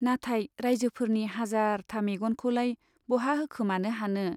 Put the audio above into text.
नाथाय राइजोफोरनि हाजारथा मेग'नखौलाय बहा होखोमानो हानो।